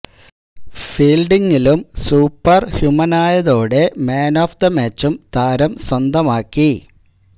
ഫീല്ഡിങിലും super ഹ്യൂമനായതോടെ man of the മാച്ചും താരം സ്വന്തമാക്കി